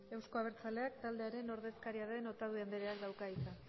euzko abertzaleak taldearen ordezkaria den otadui andreak dauka hitza